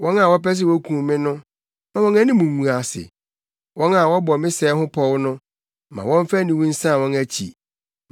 Wɔn a wɔpɛ sɛ wokum me no, ma wɔn anim ngu ase; wɔn a wɔbɔ me sɛe ho pɔw no, ma wɔmfa aniwu nsan wɔn akyi.